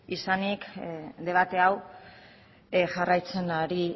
izanik debate hau jarraitzen ari